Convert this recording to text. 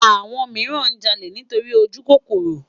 Awòn mirán jàlé nitóri ójúkókóró